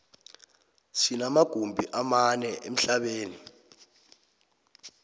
sinoma gumbi amane emhlabeni